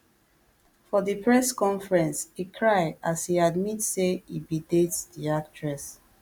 for di press conference e cry as e admit say e bin date di actress